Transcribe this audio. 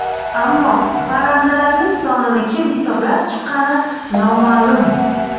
Ammo parrandalarning sonini kim hisoblab chiqqani noma’lum.